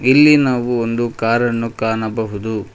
ಇಲ್ಲಿ ನಾವು ಒಂದು ಕಾರನ್ನು ಕಾಣಬಹುದು.